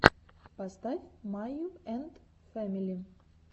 поставь майю энд фэмили